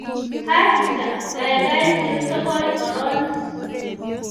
Achicha, gaigai chil sogol koron